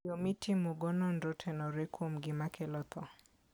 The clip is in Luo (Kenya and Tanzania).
Yo mitimogo nonro otenore kuom gima kelo tho.